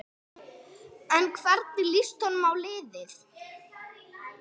En hvernig líst honum á liðið?